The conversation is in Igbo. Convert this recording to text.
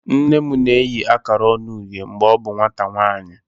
Nne m na-eyi akara ọñu uhie mgbe ọ bụ nwata nwanyị.